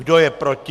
Kdo je proti?